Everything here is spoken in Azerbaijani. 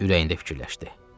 Ürəyində fikirləşdi.